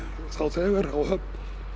þá þegar á Höfn